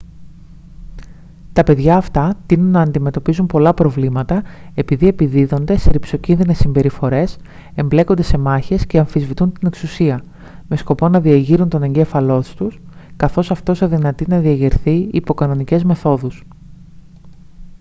τα παιδιά αυτά τείνουν να αντιμετωπίζουν πολλά προβλήματα επειδή «επιδίδονται σε ριψοκίνδυνες συμπεριφορές εμπλέκονται σε μάχες και αμφισβητούν την εξουσία» με σκοπό να διεγείρουν τον εγκέφαλό τους καθώς αυτός αδυνατεί να διεγερθεί υπό κανονικές μεθόδους